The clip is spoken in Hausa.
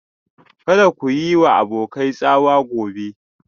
Kada ku yi wa abokai tsawa gobe